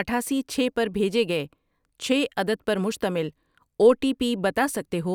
اٹھاسی، چھ پر بھیجے گئے چھ عدد پر مشتمل او ٹی پی بتا سکتے ہو؟